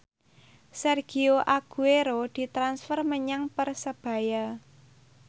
Sergio Aguero ditransfer menyang Persebaya